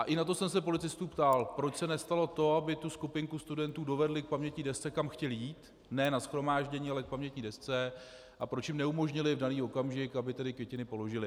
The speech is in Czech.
A i na to jsem se policistů ptal, proč se nestalo to, aby tu skupinku studentů dovedli k pamětní desce, kam chtěli jít, ne na shromáždění, ale k pamětní desce, a proč jim neumožnili v daný okamžik, aby tedy květiny položili.